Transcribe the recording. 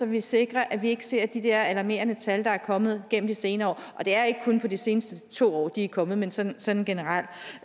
vi sikrer at vi ikke ser de der alarmerende tal der er kommet gennem de senere år og det er ikke kun i de seneste to år de er kommet men sådan sådan generelt